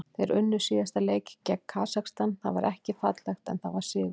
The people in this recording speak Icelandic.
Þeir unnu síðasta leik gegn Kasakstan, það var ekki fallegt en það var sigur.